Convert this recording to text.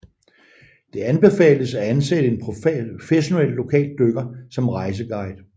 Det anbefales at ansætte en professionel lokal dykker som rejseguide